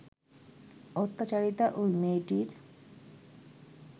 অত্যাচারিতা ওই মেয়েটির